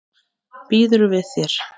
Býður við þér.